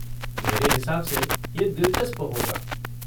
मेरे हिसाब से ये दिलचस्प होगा।